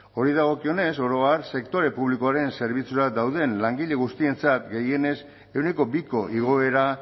horri dagokionez oro har sektore publikoaren zerbitzura dauden langile guztientzat gehienez ehuneko biko igoera